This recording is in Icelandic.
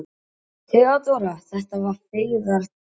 THEODÓRA: Þetta var feigðarflan.